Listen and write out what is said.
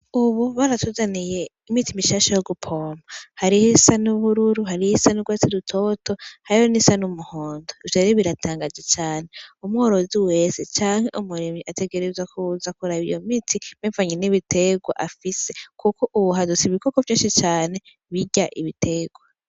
Ubu baratuzaniye imiti mishasha yo gupompa, hariho iy'isa n'ubururu, hariho iy'isa n'ugwatsi rutoto, hariho n'iy'isa n'umuhondo, ivyo rero biratangaje cane, umworozi wese canke umurimyi ategerezwa kuza kuraba iyo miti bivanye n'ibitegwa afise, kuko ubu hadutse ibikoko vyinshi cane birya ibitegwa.